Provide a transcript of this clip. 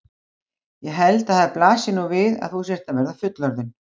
Ég held að það blasi nú við að þú sért að verða fullorðin.